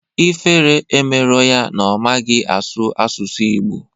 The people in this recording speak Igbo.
Ifere emerọ ya na ọ maghị asụ asụsụ Ịgbo